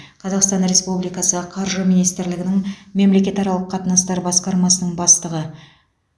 қазақстан республикасы қаржы министрлігінің мемлекетаралық қатынастар басқармасының бастығы